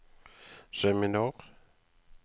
seminar